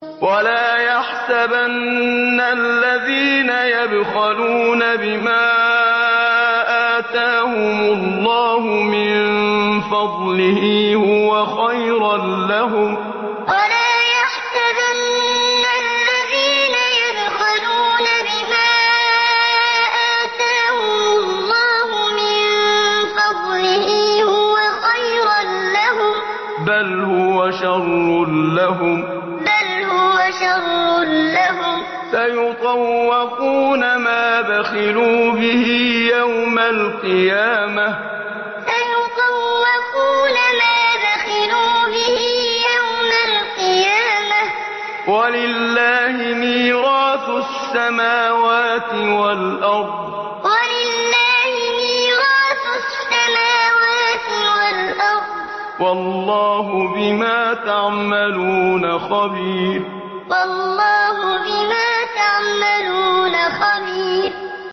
وَلَا يَحْسَبَنَّ الَّذِينَ يَبْخَلُونَ بِمَا آتَاهُمُ اللَّهُ مِن فَضْلِهِ هُوَ خَيْرًا لَّهُم ۖ بَلْ هُوَ شَرٌّ لَّهُمْ ۖ سَيُطَوَّقُونَ مَا بَخِلُوا بِهِ يَوْمَ الْقِيَامَةِ ۗ وَلِلَّهِ مِيرَاثُ السَّمَاوَاتِ وَالْأَرْضِ ۗ وَاللَّهُ بِمَا تَعْمَلُونَ خَبِيرٌ وَلَا يَحْسَبَنَّ الَّذِينَ يَبْخَلُونَ بِمَا آتَاهُمُ اللَّهُ مِن فَضْلِهِ هُوَ خَيْرًا لَّهُم ۖ بَلْ هُوَ شَرٌّ لَّهُمْ ۖ سَيُطَوَّقُونَ مَا بَخِلُوا بِهِ يَوْمَ الْقِيَامَةِ ۗ وَلِلَّهِ مِيرَاثُ السَّمَاوَاتِ وَالْأَرْضِ ۗ وَاللَّهُ بِمَا تَعْمَلُونَ خَبِيرٌ